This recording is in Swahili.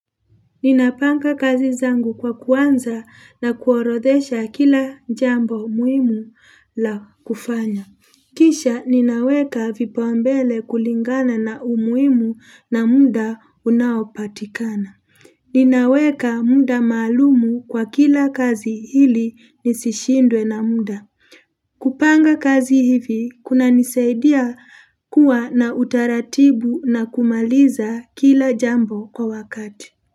Ninapanga kazi zangu kwa kuanza na kuorodhesha kila jambo muhimu la kufanya. Kisha ninaweka vipaumbele kulingana na umuhimu na muda unaopatikana. Ninaweka muda maalum kwa kila kazi ili nisishindwe na muda. Kupanga kazi hivi kunanisaidia kuwa na utaratibu na kumaliza kila jambo kwa wakati.